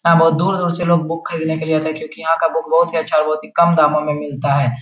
यहाँ बहोत दूर-दूर से लोग बुक खरीदने के लिए आते है क्यूंकि यहाँ का बुक बहोत ही अच्छा और बहोत ही कम दामों मे मिलता है।